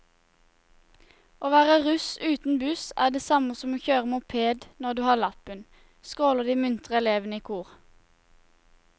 Å være russ uten buss er det samme som å kjøre moped når du har lappen, skråler de muntre elevene i kor.